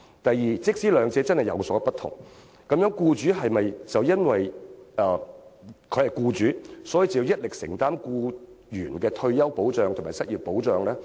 第二，即使兩者真的有所不同，是否便要僱主一力承擔僱員的退休保障和失業保障？